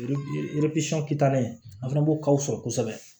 kitalen a fana b'o kalo sɔrɔ kosɛbɛ